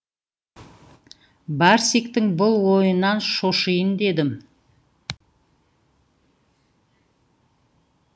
барсиктің бұл ойынан шошиын дедім